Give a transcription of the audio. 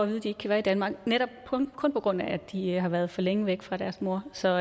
de ikke kan være i danmark netop kun på grund af at de har været for længe væk fra deres mor så